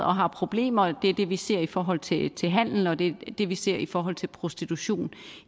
og har problemer det er det vi ser i forhold til til handel og det er det vi ser i forhold til prostitution